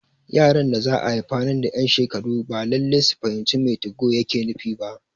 Yaran da za'a haifa nan da ƴan shekaru ba Lallai su fahimci me 2go yake nufi ba